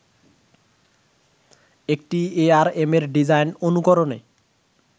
একটি এআরএমের ডিজাইন অনুকরণে